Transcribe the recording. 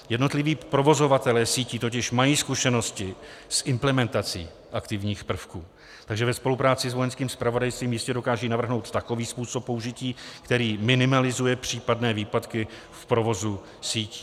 Jednotliví provozovatelé sítí totiž mají zkušenosti s implementací aktivních prvků, takže ve spolupráci s Vojenským zpravodajstvím jistě dokážou navrhnout takový způsob použití, který minimalizuje případné výpadky v provozu sítí.